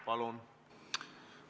Palun!